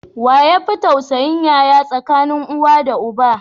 Waye yafi tausayin yaya tsakanin uwa da uba?